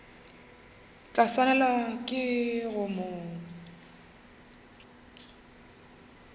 tla swanelwa ke go mo